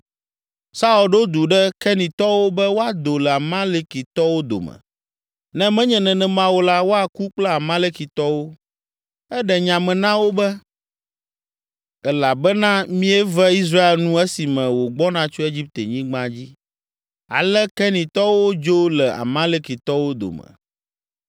Saul ɖo du ɖe Kenitɔwo be woado le Amalekitɔwo dome, ne menye nenema o la, woaku kple Amalekitɔwo. Eɖe nya me na wo be, “Elabena mieve Israel nu esime wògbɔna tso Egiptenyigba dzi.” Ale Kenitɔwo dzo le Amalekitɔwo dome.